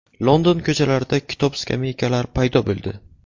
London ko‘chalarida kitob-skameykalar paydo bo‘ldi.